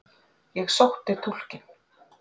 Ég sótti túlkinn.